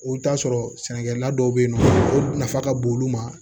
I bɛ t'a sɔrɔ sɛnɛkɛla dɔw bɛ yen nɔ o nafa ka bon olu ma